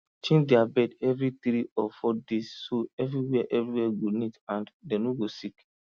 change their bed every three or four days so everywhere everywhere go neat and dem no go sick